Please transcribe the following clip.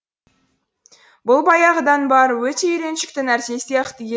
бұл баяғыдан бар өте үйреншікті нәрсе сияқты еді